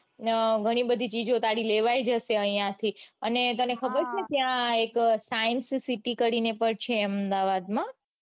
ગણી બધી ચીઝો તારી લેવાઈ જશે આઇયાથી અને તને ખબર છે ત્યાં એક સાયન્સ સિટી કરીને પણ એક છે અમદાવાદમાં